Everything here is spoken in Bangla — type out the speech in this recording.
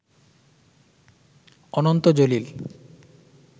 অনন্ত জলিল